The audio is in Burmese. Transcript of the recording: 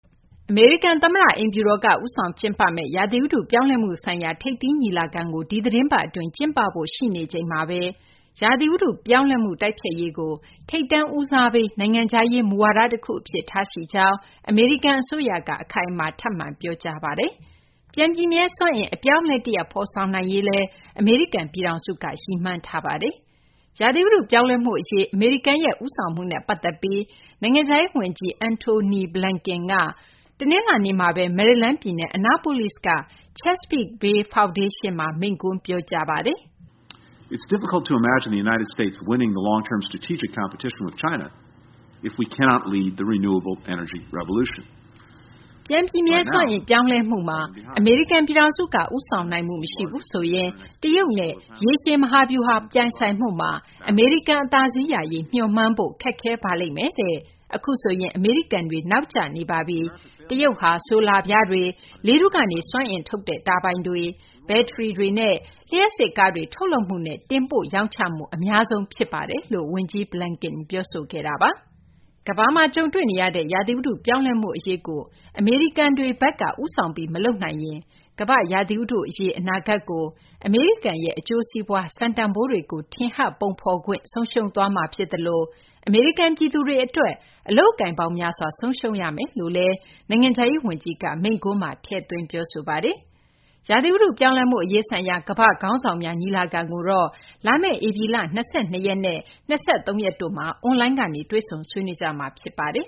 အမေရိကန် သမ္မတ အိမ်ဖြူတော်က ဦးဆောင် ကျင်းပမယ့် ရာသီဥတု ပြောင်းလဲမှု ဆိုင်ရာ ထိပ်သီး ညီလာခံကို ဒီသီတင်းပတ် အတွင်းကျင်းပဖို့ ရှိနေချိန်မှာဘဲ ရာသီ ဥတု ပြောင်းလဲမှုကို တိုက်ဖျက်ရေးကို ထိပ်တန်း ဦးစားပေး နိုင်ငံခြားရေး မူဝါဒ တခု အဖြစ် ထားရှိကြောင်း အမေရိကန် အစိုးရက အခိုင်အမာ ထပ်မံ ပြောကြားပါတယ်။ ပြန်ပြည့်မြဲ စွမ်းအင် အပြောင်းအလဲ တရပ်ကို ဖော်ဆောင်နိုင်ရေးလည်း အမေရိကန် ပြည်ထောင်စုက ရည်မှန်းထားတာပါ။ ရာသီဥတု ပြောင်းလဲမှု အရေး အမေရိကန်ရဲ့ ဦးဆောင်မှုနဲ့ ပတ်သက်ပြီး အမေရိကန် နိုင်ငံခြားရေး ဝန်ကြီး Antony Blinken က တနလာၤနေ့မှာဘဲ မယ်ရီလန်းပြည်နယ် Annapolis က Chesapeake Bay Foundation မှာ မိန့်ခွန်း ပြောကြားခဲ့ပါတယ်။ "ပြန်ပြည့်မြဲ စွမ်းအင် ပြောင်းလဲမှုမှာ အမေရိကန် ပြည်ထောင်စုက ဦးဆောင်နိုင်မှု မရှိဘူးဆိုရင် တရုတ်နဲ့ ရေရှည် မဟာဗျူဟာ ပြိုင်ဆိုင်မှုမှာ အမေရိကန် အသာစီးရရေး မျှော်မှန်းဖို့ ခက်ခဲပါလိမ့်မယ်။ အခုဆိုရင် အမေရိကန်တွေ နောက်ကျနေပါပြီ။ တရုတ်ဟာ ဆိုလာပြားတွေ၊ လေထုကနေ စွမ်းအင်ထုတ်တဲ့ တာဘိုင်တွေ၊ ဘက်ထရီတွေနဲ့ လျှပ်စစ် ကားတွေ ထုတ်လုပ်မှုနဲ့ တင်ပို့ ရောင်းချမှု အများဆုံး ဖြစ်ပါတယ်။ ကမ္ဘာမှာ ကြုံတွေ့နေရတဲ့ ရာသီဥတု ပြောင်းလဲမှု အရေးကို အမေရိကန်တွေဘက်က ဦးဆောင်ပြီး မလုပ်နိုင်ရင် ကမ္ဘာ့ ရာသီဥတု အရေး အနာဂတ်ကို အမေရိကန်ရဲ့ အကျိုးစီးပွားနဲ့ စံတန်ဖိုးတွေကို ထင်ဟပ် ပုံဖော်ခွင့် ဆုံးရှုံးသွားမှာ ဖြစ်သလို အမေရိကန် ပြည်သူတွေ အတွက် အလုပ်အကိုင်ပေါင်း များစွာ ဆုံးရှုံးရမယ်" လို့လည်း နိုင်ငံခြားရေး ဝန်ကြီးက မိန့်ခွန်းမှာ ထည့်သွင်း ပြောဆိုပါတယ်။ ရာသီဥတု ပြောင်းလဲမှု အရေးဆိုင်ရာ ကမ္ဘာ့ခေါင်းဆောင်များ ညီလာခံကိုတော့ လာမယ့် ဧပြီလ ၂၂ ရက်နဲ့ ၂၃ ရက်တို့မှာ အွန်လိုင်းကနေ တွေ့ဆုံ ဆွေးနွေးကြမှာ ဖြစ်ပါတယ်